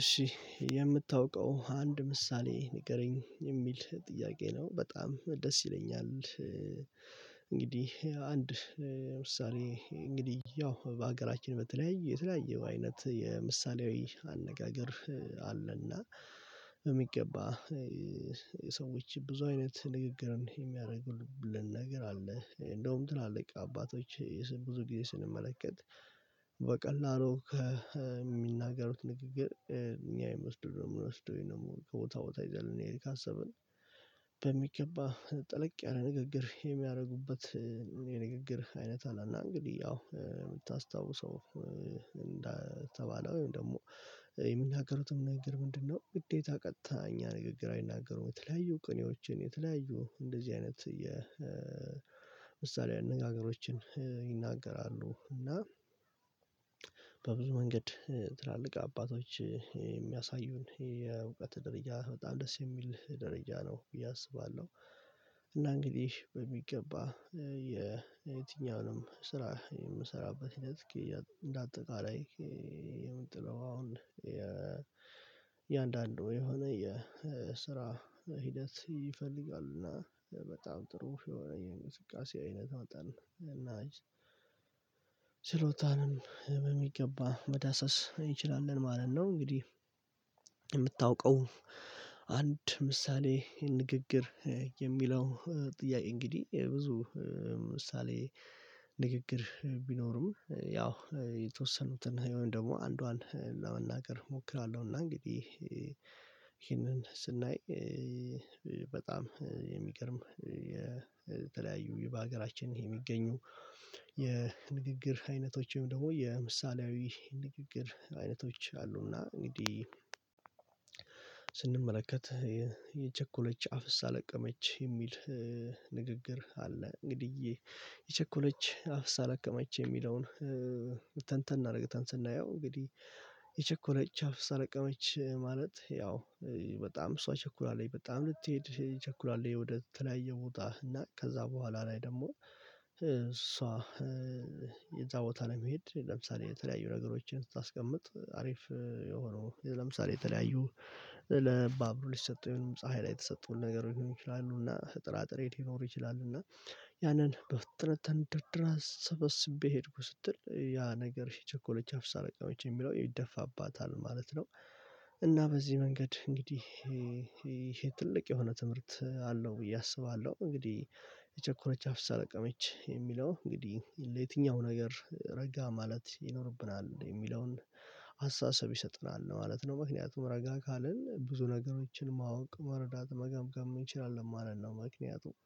እሺ የምታውቀው አንድ ምሳሌ ንገረኝ የሚል ጥያቄ ነው በጣም ደስ ይለኛል። እንግዲህ አንድ ምሳሌ እንግዲህ ያው በሀገራችን በተለያዩ የተለያየ አይነት የምሳሌያዊ አነጋገር አለና በሚገባ የሰዎች ብዙ አይነት ንግግርን የሚያደርጉልን ነገር አለ እንደውም ትላልቅ አባቶች ብዙ ጊዜ ስንመለከት በቀላሉ ከሚናገሩት ንግግር እኛ የምወስደው ነው የምወስደው ወይንም ከቦታ ቦታ ይዘን ልንሄድ ካሰብን በሚገባ ጠለቅ ያለ ንግግር የሚያደርጉበት። የንግግር አይነት አለና እንግዲህ አዎ የምታስታውሰው እንደተባለ ወይም ደግሞ የሚናገሩት ንግግር ምንድነው? ግዴታ ቀጥታ እኛ ንግግር አይናገሩም የተለያዩ ቅኔዎችን የተለያዩ እንደዚህ አይነት የምሳሌ አነጋገሮችን ይናገራሉ። እና በብዙ መንገድ ትላልቅ አባቶች የሚያሳዩን የእውቀት ደረጃ በጣም ደስ የሚል ደረጃ ነው ብዬ አስባለሁ። እና እንግዲህ በሚገባ የትኛውንም ስራ የምሰራበት ሂደት እንደ አጠቃላይ የምንጥለው አሁን የእያንዳንዱ የሆነ የስራ ሂደት ይፈልጋሉና በጣም ጥሩ የሆነ የእንቅስቃሴ አይነት መጠን እና ስሎታንም በሚገባ መዳሰስ እንችላለን ማለት ነው። እንግዲህ የምታውቀው አንድ ምሳሌ ንግግር የሚለው ጥያቄ እንግዲህ ብዙ ምሳሌ ንግግር ቢኖርም ያው የተወሰኑትን ወይም ደግሞ አንዷን ለመናገር እሞክራለሁ። እና እንግዲህ ይሄንን ስናይ በጣም የሚገርም የተለያዩ በሀገራችን ይሄ የሚገኙ የንግግር አይነቶችም ደግሞ የምሳሌያዊ ንግግር አይነቶች አሉና እንግዲህ ስንመለከት የቸኮለች አፍሳ ለቀመች የሚል ንግግር አለ። እንግዲህ የቸኮለች አፍሳ ለቀመች የሚለውን ተንተን አርግተን ስናየው እንግዲህ የቸኮለች አፍሳ ለቀመች ማለት ያው በጣም እሷ ቸኩላለች በጣም ልትሄድ ቸኩላለች ወደ ተለያየ ቦታ እና ከዛ በኋላ ላይ ደግሞ እሷ እዛ ቦታ ለመሄድ ለምሳሌ የተለያዩ ነገሮችን ስታስቀምጥ አሪፍ የሆነው ለምሳሌ የተለያዩ ለባቡ ሊሰጡ የሆነውን ፀሀይ ላይ የተሰጡን ነገር ሊሆን ይችላሉ እና ጥራጥሬን ሊኖሩ ይችላሉ እና ያንን በፍጥነት ተንደርድራ ሰበስቤ ሄድኩ ስትል ያ ነገር የቸኮለች አፍሳ ለቀመች የሚለው ይደፋባታል ማለት ነው። እና በዚህ መንገድ እንግዲህ ይሄ ትልቅ የሆነ ትምህርት አለው ብዬ አስባለሁ። እንግዲህ የቸኮረች አፍሳ ለቀመች የሚለው እንግዲህ ለየትኛው ነገር ረጋ ማለት ይኖርብናል የሚለውን አስተሳሰብ ይሰጥናል ማለት ነው። ምክንያቱም ረጋ ካልን ብዙ ነገሮችን ማወቅ መረዳት መገምገም እንችላለን ማለት ነው። ምክንያቱም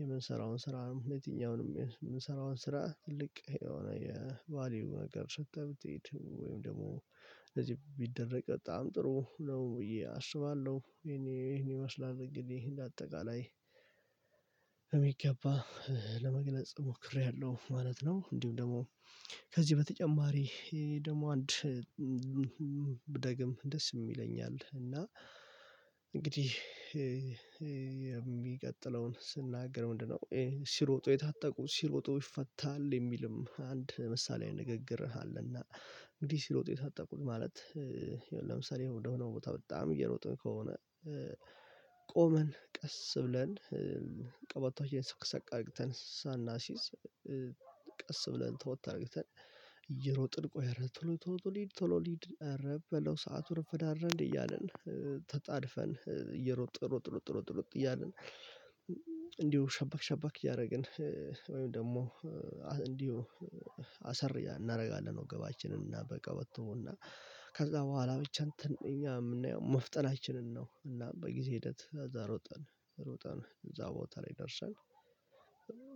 የምንሰራውን ስራ ሆነ የትኛውንም የምንሰራውን ስራ ትልቅ የሆነ የቫልዩ ነገር ሰጥተህ ብትሄድ ወይም ደግሞ እደዚህ ቢደረግ በጣም ጥሩ ነው ብዬ አስባለሁ። ይሄን ይሄን ማስላል እንግዲህ እንደ አጠቃላይ በመግባ ለመግለጽ ሞክሬያለሁ ማለት ነው። እንዲሁም ደግሞ ከዚህ በተጨማሪ ይሄ ደግሞ አንድ ደስ የሚለኝ አለ እና እንግዲህ የሚቀጥለውን ስናገር ምንድነው? ሲሮጡ የታጠቁ ሲሮጡ ይፈታል የሚልም አንድ ምሳሌ ንግግር አለና እንዲህ ሲሮጥ የታጠቁት ማለት ለምሳሌ ወደሆነው ቦታ በጣም እየሮጠ ከሆነ ቆመን ቀስ ብለን ቀበታውዬን ሰቅሰቅ አድርግተነ ሳናሲዝ ቀስ ብለን ተወት አድርግተን እየሮጥን ቆይ እረ ቶሎ ቶሎ ቶሎ ሊድ ቶሎ ሊድ አረ በለው ሰዓቱ ረፈደ። አይደል እንዴ እያልን ተጣድፈን እየሮጥ ሮጥ ሮጥ ሮጥ ሮጥ ሮጥ ሮጥ እያለን ሸበክ ሸበክ እያደረግን ወይም ደግሞ እንዲሁ አሰር እናደርጋለን ወገባችንን እና በቀበተው እና ከዛ በኋላ ብቻ እንትን እኛ የምናየው መፍጠናችንን ነው። እና በጊዜ ሂደት እዛ ሮጠን ሮጠን እዛ ቦታ ላይ ደርሰን።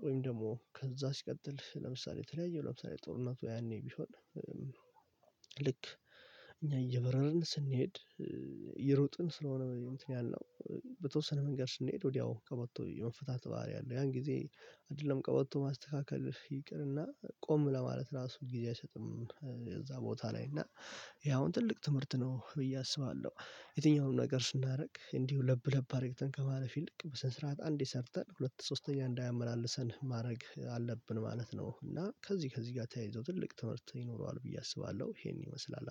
ወይም ደግሞ ከዛ ሲቀጥል ለምሳሌ የተለያየው ለምሳሌ ጦርነቱ ያኔ ቢሆን ልክ እኛ እየበረርን ስንሄድ እየሮጥን ስለሆነ እንትን ያልነው በተወሰነ መንገድ ስንሄድ ወዲያው ቀበቶ የመፍታት ባህሪ አለው ያን ጊዜ አይደለም ቀበቶ ማስተካከል ይቅርና ቆም ለማለት ራሱ ጊዜ አይሰጥም። የዛ ቦታ ላይ እና ይሄ አሁን ትልቅ ትምህርት ነው ብዬ አስባለሁ። የትኛውንም ነገር ስናደርግ እንዲሁ ለብ ለብ አርግተን ከማለፍ ይልቅ በስነስርዓት አንዴ ሰርተን ሁለት ሶስተኛ እንዳያመላልሰን ማድረግ አለብን ማለት ነው። እና ከዚህ ከዚህ ጋር ተያይዞ ትልቅ ትምህርት ይኖረዋል ብዬ አስባለሁ። ይሄን ይመስላል